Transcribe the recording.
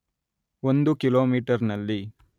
ಒಂದು ಕಿಲೋಮೀಟರ್‌ನಲ್ಲಿ